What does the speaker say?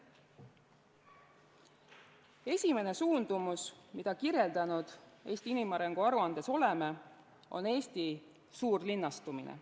Esimene suundumus, mida oleme Eesti inimarengu aruandes kirjeldanud, on Eesti suurlinnastumine.